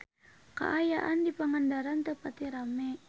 Kaayaan di Pangandaran teu pati rame